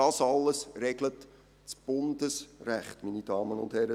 Das alles regelt das Bundesrecht, meine Damen und Herren.